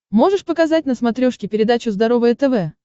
можешь показать на смотрешке передачу здоровое тв